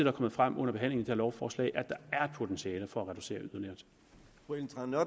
er kommet frem under behandlingen her lovforslag der er et potentiale for at reducere